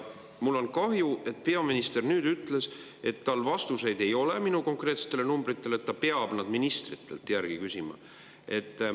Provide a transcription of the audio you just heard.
Mul on kahju, et peaminister ütles, et tal ei ole vastuseid minu konkreetsetele numbritele, et ta peab neid ministritelt küsima.